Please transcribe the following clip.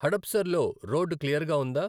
హడప్సర్ లో రోడ్డు క్లియర్గా వుందా